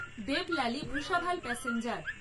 Deolali Bhusawal passenger